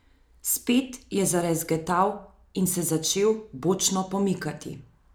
Spet je zarezgetal in se začel bočno pomikati.